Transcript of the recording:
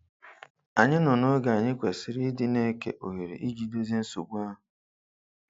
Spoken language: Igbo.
Anyị nọ noge anyị kwesịrị ịdị na-eke ohere iji dozie nsogbu ahụ.